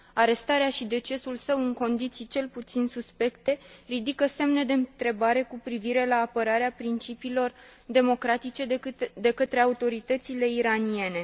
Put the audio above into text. Arestarea și decesul său, în condiții cel puțin suspecte, ridică semne de întrebare cu privire la apărarea principiilor democratice de către autoritățile iraniene.